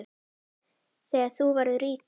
Þegar þú verður ríkur?